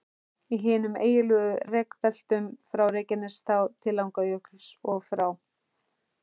Í hinum eiginlegu rekbeltum, frá Reykjanestá til Langjökuls, og frá